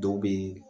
Dɔw bɛ